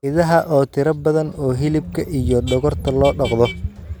Idaha oo tiro badan oo hilibka iyo dhogorta loo dhaqdo.